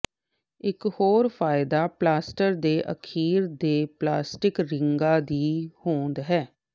ਇਕ ਹੋਰ ਫਾਇਦਾ ਪਲਾਸਟਰ ਦੇ ਅਖੀਰ ਤੇ ਪਲਾਸਟਿਕ ਰਿੰਗਾਂ ਦੀ ਹੋਂਦ ਹੈ